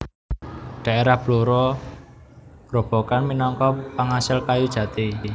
Daerah Blora Grobogan minangka pangasil kayu jati